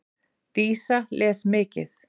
Dísa les mikið.